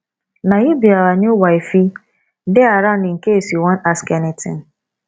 na you be our new wifei dey around in case you wan ask anything